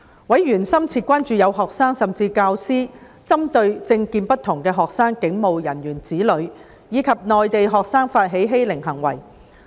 委員深切關注到，有學生甚至教師針對政見不同的學生、警務人員子女及內地學生發起欺凌行為。